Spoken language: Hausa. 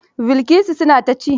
Bilkisu suna ta ci?